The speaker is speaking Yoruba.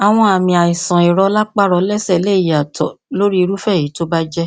àwọn àmì àìsànìrọlápá rọlẹsẹ lè yàtọ lórí irúfẹ èyí tó bá jẹ